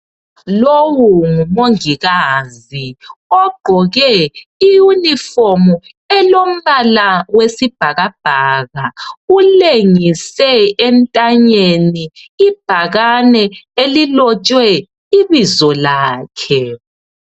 Lowu ngomongikazi ogqoke iyunifomu elombala wesibhakabhaka. Ulengise entanyeni ibhakane elilotshwe ibizo lakhe.